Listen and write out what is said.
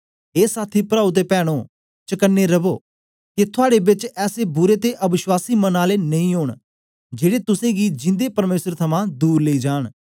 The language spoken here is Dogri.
ए साथी प्राओ ते पैनो चकने रवो के थुआड़े बेच ऐसे बुरे ते अवश्वासी मन आले नेई ओंन जेड़े तुसेंगी जिंदे परमेसर थमां दूर लेई जांन